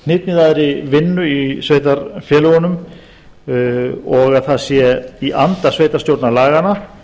hnitmiðaðri vinnu í sveitarfélögunum og að það sé í anda sveitarstjórnarlaganna